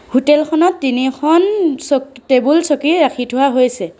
Hotel খনত তিনিখন চক টেবুল চকী ৰাখি থোৱা হৈছে।